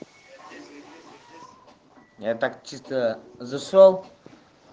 я так чисто зашёл